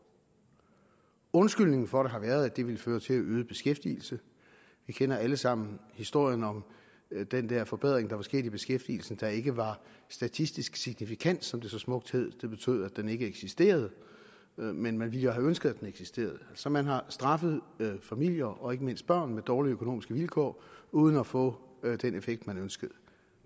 undskyldningen for det har været at det ville føre til øget beskæftigelse vi kender alle sammen historien om den der forbedring der var sket i beskæftigelsen der ikke var statistisk signifikant som det så smukt hed det betød at den ikke eksisterede men man ville jo have ønsket at den eksisterede så man har straffet familier og ikke mindst børn med dårlige økonomiske vilkår uden at få den effekt man ønskede